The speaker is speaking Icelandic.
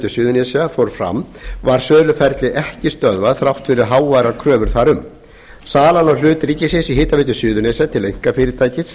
suðurnesja fór fram var söluferlið ekki stöðvað þrátt fyrir háværar kröfur þar um salan á hlut ríkisins í hitaveitu suðurnesja til einkafyrirtækis